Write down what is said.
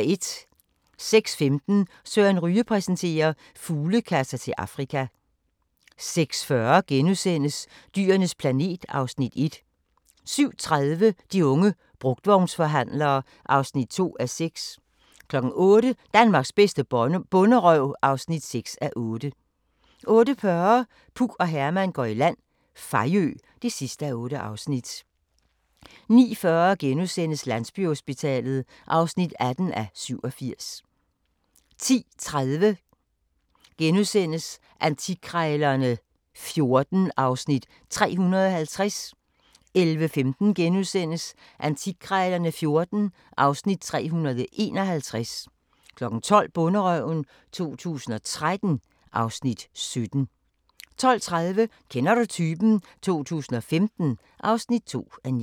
06:15: Søren Ryge præsenterer: Fuglekasser til Afrika 06:40: Dyrenes planet (Afs. 1)* 07:30: De unge brugtvognsforhandlere (2:6) 08:00: Danmarks bedste bonderøv (6:8) 08:40: Puk og Herman går i land – Fejø (8:8) 09:40: Landsbyhospitalet (18:87)* 10:30: Antikkrejlerne XIV (Afs. 350)* 11:15: Antikkrejlerne XIV (Afs. 351)* 12:00: Bonderøven 2013 (Afs. 17) 12:30: Kender du typen? 2015 (2:9)